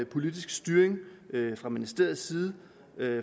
politisk styring fra ministeriets side